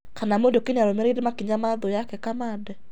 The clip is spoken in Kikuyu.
Kana Muriuki nĩararũmĩrĩire makĩnya ma 'thu' yake Kamande